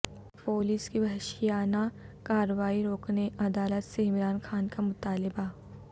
police کی وحشیانہ کارروائی روکنے عدالت سے عمران خان کا مطالبہ